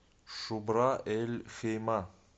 шубра эль хейма